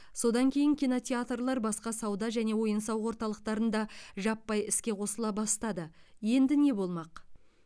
содан кейін кинотеатрлар басқа сауда және ойын сауық орталықтарында жаппай іске қосыла бастады енді не болмақ